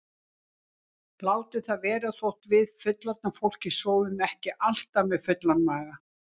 Látum það vera þótt við fullorðna fólkið sofnum ekki alltaf með fullan maga.